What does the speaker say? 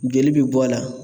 Joli bɛ bɔ a la